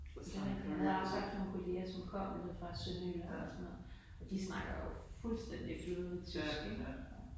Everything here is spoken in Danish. Min mand han havde haft nogle kolleger som kom nede fra Sønderjylland og sådan noget og de snakker jo fuldstændig flydende tysk ikke